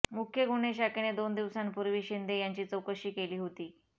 मुख्य गुन्हे शाखेने दोन दिवसांपूर्वी शिंदे यांची चौकशी केली होती